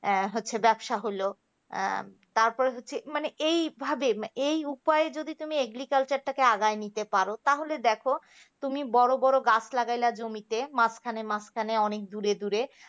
হ্যাঁ হচ্ছে ব্যবসা হল তারপর হচ্ছে মানে এইভাবে এই উপায়ে যদি তুমি agriculture টাকে আগাই নিতে পারো নিতে পারো তাহলে দেখো তুমি বড় বড় গাছ লাগাইলা জমিতে মাঝখানে মাঝখানে অনেক দূরে দূরে